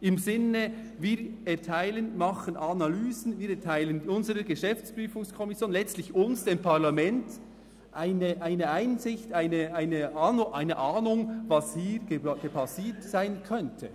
im Sinne von: Wir erteilen den Auftrag, machen Analysen, wir erteilen unserer GPK – letztlich uns, dem Parlament – eine Einsicht, machen uns eine Ahnung, was hier gerade passiert sein könnte.